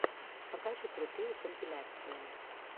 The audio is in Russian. покажи крутые компиляции